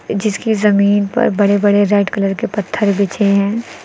जिसकी जमीन पर बड़े बड़े रेड कलर के पत्थर बिछे हैं।